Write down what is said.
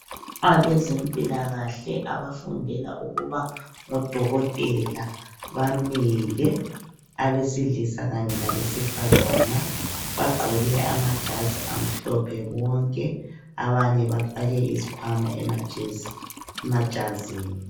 Abezempilakahle abafundela ukuba ngodokotela bamile. Abesilisa kanye labesifazana, bagqoke amajazi amhlophe bonke. Abanye bafake izikhwama amajazini.